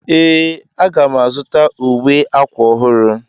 Ee,a ga m azụta uwe akwa ọhụrụ.